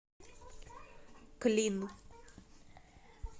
клин